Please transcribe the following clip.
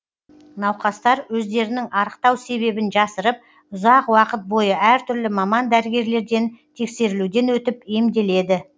науқастар өздерінің арықтау себебін жасырып ұзақ уақыт бойы әртүрлі маман дәрігерлерден тексерілуден өтіп емделеді